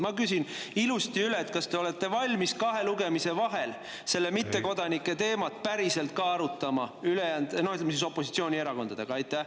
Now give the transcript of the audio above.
Ma küsin ilusti üle: kas te olete valmis kahe lugemise vahel seda mittekodanike teemat päriselt ka arutama opositsioonierakondadega?